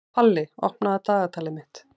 Palli, opnaðu dagatalið mitt.